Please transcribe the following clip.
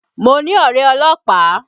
Mo ní ọ̀rẹ́ ọlọ́pàá